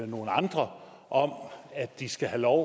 nogle andre om at de skal have lov